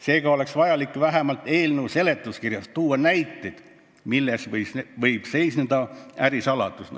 Seega oleks vajalik vähemalt eelnõu seletuskirjas tuua näiteid, milles võib seisneda ärisaladus.